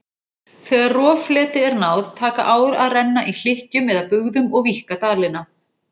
Þegar roffleti er náð taka ár að renna í hlykkjum eða bugðum og víkka dalina.